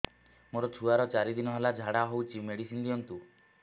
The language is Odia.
ମୋର ଛୁଆର ଚାରି ଦିନ ହେଲା ଝାଡା ହଉଚି ମେଡିସିନ ଦିଅନ୍ତୁ